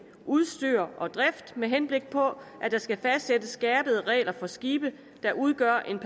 udstyr og drift med henblik på at der skal fastsættes skærpede regler for skibe der udgør en